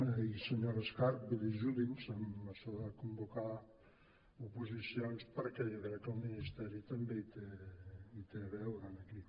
i senyora escarp vull dir ajudi’ns en això de convocar oposicions perquè jo crec que el ministeri també hi té a veure en aquí